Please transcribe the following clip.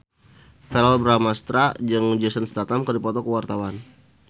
Verrell Bramastra jeung Jason Statham keur dipoto ku wartawan